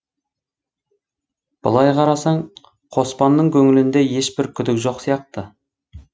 былай қарасаң қоспанның көңілінде ешбір күдік жоқ сияқты